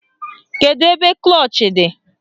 Kedu ebe klọch dị?